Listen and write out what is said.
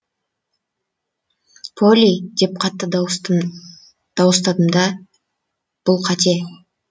полли деп қатты дауыстадым да бұл қате